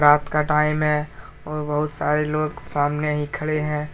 रात का टाइम है और बहुत सारे लोग सामने ही खड़े हैं।